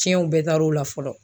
Tiɲɛw bɛɛ taar'o la fɔlɔ.